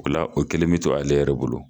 O la o kɛlen bɛ to ale yɛrɛ bolo